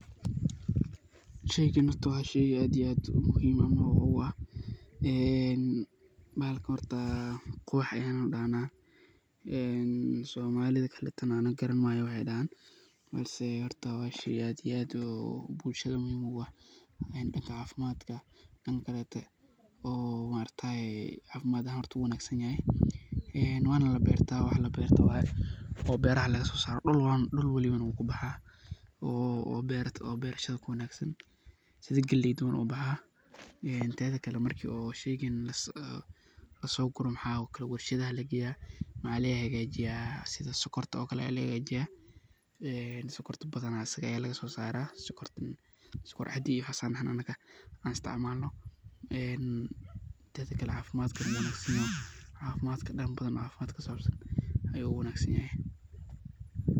Sheeygan horta wa sheey aad iyo aad muhimsan amah u aah ini bahalka horta quwax Aya dahnah ee somlida kaleto Anika Karan mayo waayo waxay dahan balsi wa sheey aad iyo aad oo bulshada muhim ugu aah danga cafimdkaa dankakolotay , oo maaragtay cafimad ahaan wuu u wanagsantahay ee Wana la beerta wax labeertoh waye oo beeraha lagasoasroh dulbwaliban wuu kibaxaa oo beertarsha kuwangsan sibkaleyta ayu ubaxaa ee tetha Kali marki oo sheeygan lasokoroh waxakorah warsheet ayalageeyah waxalga hajeeyah sibsokkorta oo Kali Aya laga hajeeyah sookaorta bathana Aya laga sossarah soorkor cadeey Aya dahnah anaga aa isticmalnoh ee tetha Kali cafimdka wuu uwanagsanyhahay danga cafimdkaa kusabsan ayu u wangsanyahay .